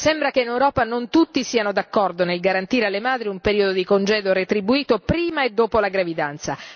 Sembra che in Europa non tutti siano d'accordo nel garantire alle madri un periodo di congedo retribuito prima e dopo la gravidanza.